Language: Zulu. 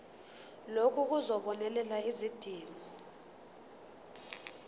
lokhu kuzobonelela izidingo